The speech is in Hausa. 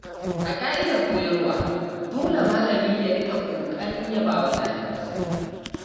A ka'idar koyarwa, dole malami ya riƙa ƙoƙarin yaba wa ɗalibansa.